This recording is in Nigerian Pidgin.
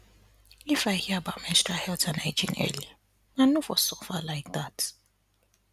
if i hear about menstrual health and hygiene early i no for suffer like that